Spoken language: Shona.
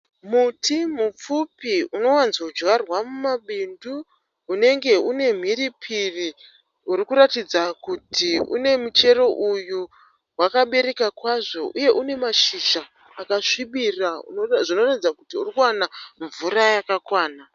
Muti mupfupi unowanzodyarwa mumabindu unenge une mhiripiri uri kuratidza kuti une michero uyu wakabereka kwazvo uye une mashizha akasvibira zvinoratidza kuti uri kuwana mvura yakakwana.